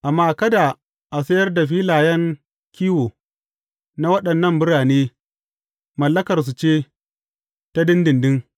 Amma kada a sayar da filayen kiwo na waɗannan birane; mallakarsu ce, ta ɗinɗinɗin.